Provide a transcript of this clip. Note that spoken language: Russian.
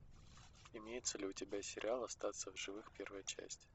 имеется ли у тебя сериал остаться в живых первая часть